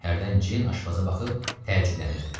Hərdən Ceyn aşpaza baxıb təəccüblənirdi.